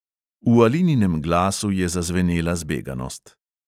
V alininem glasu je zazvenela zbeganost.